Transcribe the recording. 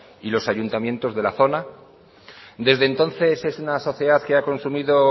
y los ayuntamientos de la zona desde entonces es una sociedad que ha consumido